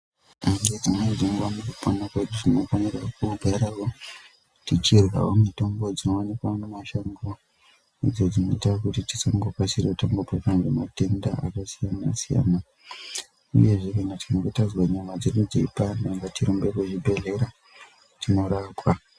Nedzimweni dzenguva mukupona kwedu tinofanira kugarawo tichirya mitombo dzinowanikwa mumashango idzo dzinoita kuti tisangokasira kubatwa nematenda akasiyana siyana uyezve kana tikanga tazwe nyama dzedu dzeipanda ngatirumbe kuchibhedhleya tinorapwa.